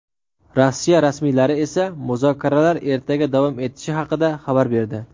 Rossiya rasmiylari esa muzokaralar ertaga davom etishi haqida xabar berdi.